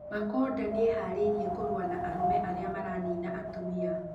Makonda nĩeharĩirie kũrũa na arũme arĩa maranina atumia